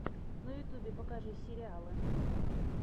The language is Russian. на ютьюбе покажи сериалы